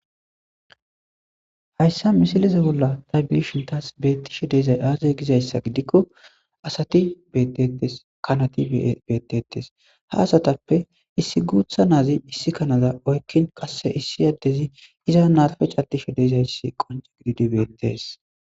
Hayissamisilezza bolla tasi betishshe dizayi aze gikko asati betettes,kanati betetes,haa asatappe issi guththa issi guththa Nazi issi kanaza oyikki qase issi adezzi iza marippe cadishshe dizayissa wonccidi betees.